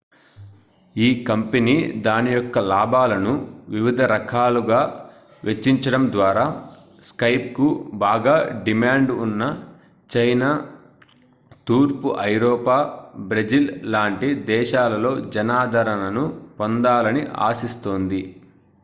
ఈ కంపెనీ దాని యొక్క లాభాలను వివిధ రకాలుగా వెచ్చించడం ద్వారా skypeకు బాగా డిమాండ్ ఉన్న చైనా తూర్పు ఐరోపా బ్రెజిల్ లాంటి దేశాలలో జనాదరణను పొందాలని ఆశిస్తోంది